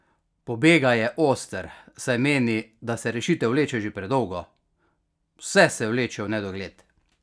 Pobega je oster, saj meni, da se rešitev vleče že predolgo: "Vse se vleče v nedogled.